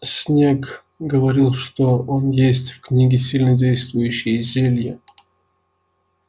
снегг говорил что он есть в книге сильнодействующие зелья